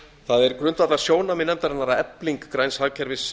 það er grundvallarsjónarmið nefndarinnar að efling græns hagkerfis